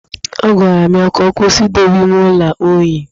Agwara m ya ka ọ kwụsị idowe ime ụlọ unyi